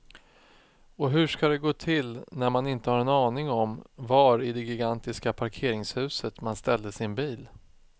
Och hur ska det gå till när man inte har en aning om var i det gigantiska parkeringshuset man ställde sin bil.